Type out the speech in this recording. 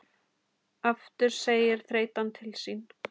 Aftur segir þreytan til sín.